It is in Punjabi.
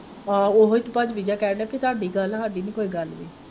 ਆਹੋ ਇਹੀ ਤੇ ਕਹਿਣ ਦਿਆ ਤੁਹਾਡੀ ਗੱਲ ਹੈ ਸਾਡੀ ਨਹੀਂ ਕੋਈ ਗੱਲ।